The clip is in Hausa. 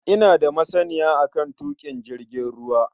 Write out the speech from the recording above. Ina da masaniya a kan tuƙin jirgin ruwa.